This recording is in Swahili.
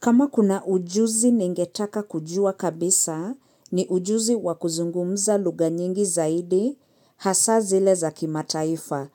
Kama kuna ujuzi ningetaka kujua kabisa ni ujuzi wa kuzungumza lugha nyingi zaidi hasa zile za kimataaifa.